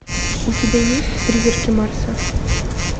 у тебя есть призраки марса